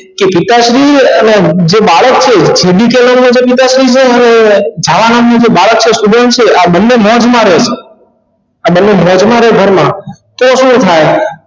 કે પિતાશ્રી અને જે બાળક છે પિતાશ્રી ણ હૉય છાયા નામનું જે બાળક છે student છે આ બને મધ મારે છે આ બંને માં કેટલું થાય